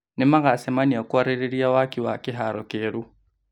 Nĩmagacemania kũarĩrĩria waaki wa kĩharo kĩeru